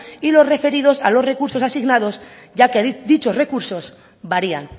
y los referidos a los recursos asignados ya que dichos recursos varían